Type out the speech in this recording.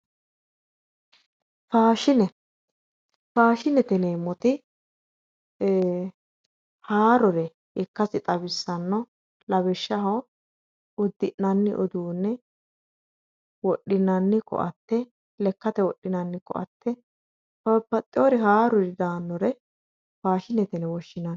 Faashine, faashinete yineemmoti ee haarore ikkasi xawisano lawishshaho udi'nanni uduune, wodhinanni koatte, lekkate wodhinanni koatte, babbaxeyori haaruri daanore faashinete yinne woshshinanni.